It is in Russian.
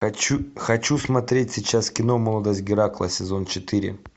хочу хочу смотреть сейчас кино молодость геракла сезон четыре